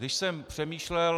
Když jsem přemýšlel -